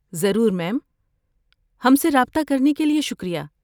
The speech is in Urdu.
ضرور، میم۔ ہم سے رابطہ کرنے کے لیے شکریہ۔